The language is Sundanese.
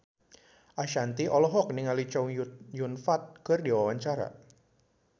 Ashanti olohok ningali Chow Yun Fat keur diwawancara